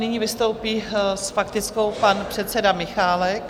Nyní vystoupí s faktickou pan předseda Michálek.